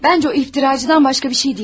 Məncə o iftiracıdan başqa bir şey deyil.